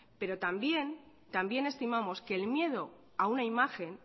pero también estimamos que el miedo a una imagen